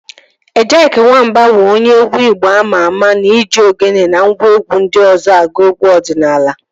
Ejyk Wamba bụ onye egwu igbo ama ama na-eji ogene na ngwa egwu ndị ọzọ agụ egwu ọdịnala